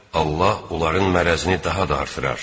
Allah onların mərrəzini daha da artırar.